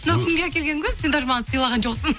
мынау кімге әкелген гүл сен даже маған сыйлаған жоқсың